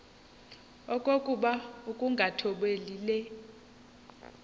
okokuba ukungathobeli le